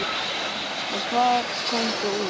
Og hvað kom svo út?